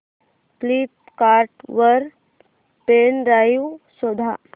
Flipkart वर pen drive शोधा